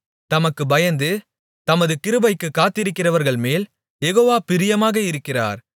தமக்குப் பயந்து தமது கிருபைக்குக் காத்திருக்கிறவர்கள்மேல் யெகோவா பிரியமாக இருக்கிறார்